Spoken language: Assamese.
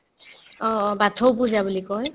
অ অ বাথৌ পূজা বুলি কই